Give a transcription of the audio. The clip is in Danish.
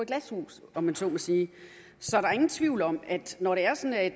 glashus om jeg så må sige så der er ingen tvivl om at når det er sådan at